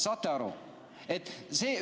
Saate aru?